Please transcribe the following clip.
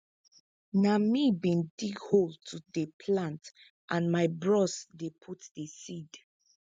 na me bin dig hole to dey plant and my bros dey put di seed